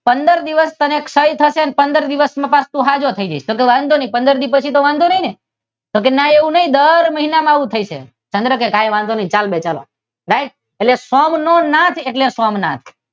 પંદર દિવસ તને ક્ષય થશે અને પંદર દિવસ માં પાછો તું સાજો થઈ જઈશ. તો કે વાંધો નહીં પંદર દિવસ પછી તો વાંધો નહીં ને? તો કે દર મહિનામાં આવું થશે. ચંદ્ર કે વાંધો નહીં ચાલો ભાઈ ચાલો એટલે સૌનો નાથ એટલે સોમનાથ